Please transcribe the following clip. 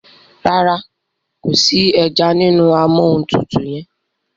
ràrá kò sí ejanínú Amóhuntutù yén.